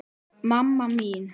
mamma mín